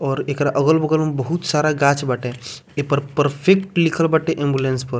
और एकरा अगल-बगल में बहुत सारा गाछ बाटे ऐपर परफेक्ट लिखल बाटे एम्बुलेंस पर।